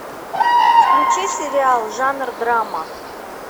включи сериал жанр драма